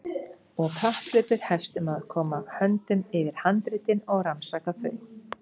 Og kapphlaupið hefst um að koma höndum yfir handritin og rannsaka þau.